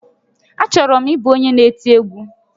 Achọrọ m ịbụ onye n'eti egwu